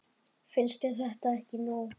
Finnst þér þetta ekki nóg?